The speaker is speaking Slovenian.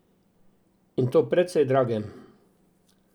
In to precej dragem.